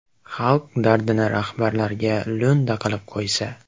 Xalq dardini rahbarlarga lo‘nda qilib qo‘ysa.